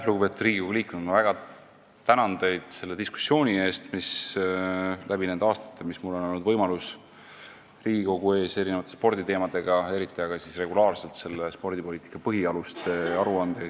Lugupeetud Riigikogu liikmed, ma väga tänan teid selle diskussiooni eest läbi nende aastate, kui mul on olnud võimalik käia Riigikogu ees erinevate sporditeemadega, eriti aga regulaarselt selle spordipoliitika põhialuste aruandega.